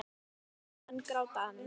Því gamlir menn gráta enn.